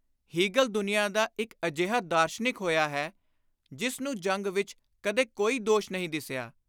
Hegel ਦੁਨੀਆਂ ਦਾ ਇਕ ਅਜਿਹਾ ਦਾਰਸ਼ਨਿਕ ਹੋਇਆ ਹੈ, ਜਿਸ ਨੂੰ ਜੰਗ ਵਿਚ ਕਦੇ ਕੋਈ ਦੋਸ਼ ਨਹੀਂ ਦਿਸਿਆ।